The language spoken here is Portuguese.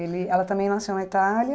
Ele ela também nasceu na Itália.